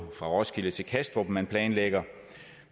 fra roskilde til kastrup som man planlægger